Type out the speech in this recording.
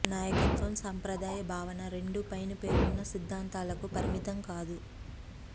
నాయకత్వం సంప్రదాయ భావన రెండు పైన పేర్కొన్న సిద్ధాంతాలకు పరిమితం కాదు